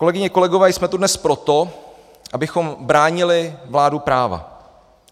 Kolegyně, kolegové, jsme tu dnes proto, abychom bránili vládu práva.